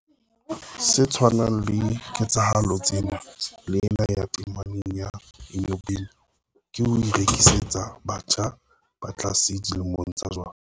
Se tshwanang ka ketsahalo tsena le ena ya tameneng ya Enyobeni, ke ho rekisetsa batjha ba tlase dilemong jwala.